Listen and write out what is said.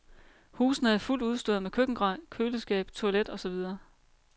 Husene er fuldt udstyrede med køkkengrej, køleskab, toilet og så videre.